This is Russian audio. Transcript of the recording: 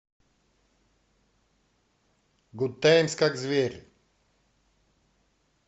гудтаймс как зверь